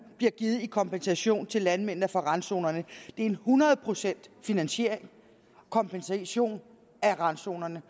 bliver givet i kompensation til landmændene for randzonerne er en hundrede procent kompensation af randzonerne